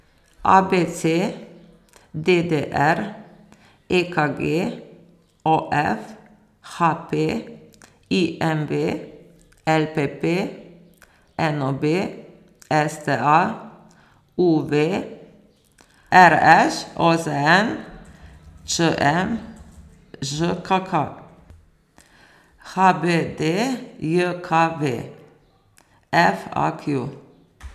A B C; D D R; E K G; O F; H P; I M V; L P P; N O B; S T A; U V; R Š; O Z N; Č M; Ž K K; H B D J K V; F A Q.